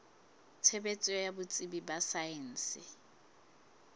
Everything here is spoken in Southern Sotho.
tshebetso ya botsebi ba saense